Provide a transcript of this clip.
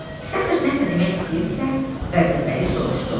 Sətr nə isə demək istəyirdisə, Vəzirbəyli soruşdu.